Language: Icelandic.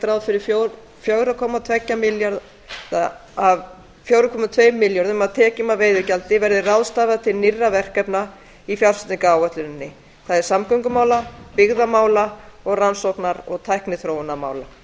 ráð fyrir að fjóra komma tvo milljarða króna af tekjum af veiðigjaldi verði ráðstafað til nýrra verkefna í fjárfestingaráætluninni það er samgöngumála byggðamála og rannsóknar og tækniþróunarmála